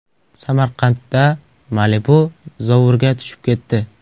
Samarqandda Malibu zovurga tushib ketdi.